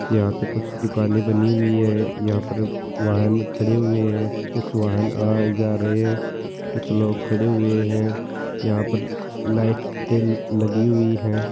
यहाँ पर कुछ दुकाने बनी हुई है यहाँ पर वाहन खड़े हुये है कुछ वाहन आ जा रहे है कुछ लोग खड़े हुये है यहाँ पर लाईट ऐ लगी हुई है।